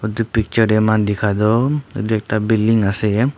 edu picture de moikhan dikhai toh edu ekta building ase.